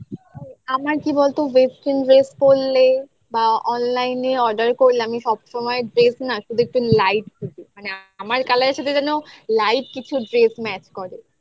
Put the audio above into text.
আমার কি বলতো western dress পড়লে বা online এ করলে আমি সব সময় dress না শুধু একটু light থাকে আমার colour এর সাথে যেন light কিছু dress match করে